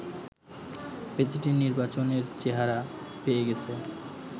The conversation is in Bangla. প্রেসিডেন্ট নির্বাচনের চেহারা পেয়ে গেছে